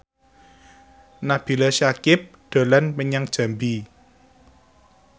Nabila Syakieb dolan menyang Jambi